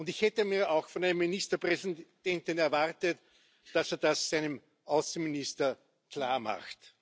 Und ich hätte mir auch von einem Ministerpräsidenten erwartet, dass er das seinem Außenminister klarmacht.